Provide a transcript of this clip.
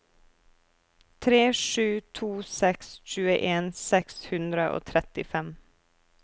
tre sju to seks tjueen seks hundre og trettifem